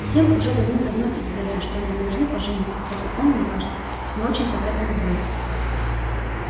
всем уже давным-давно известно что они должны пожениться хотя он мне кажется не очень-то к этому рвётся